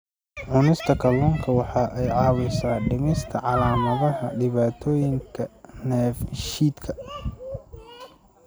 Cunista kalluunka waxa ay caawisaa dhimista calaamadaha dhibaatooyinka dheefshiidka.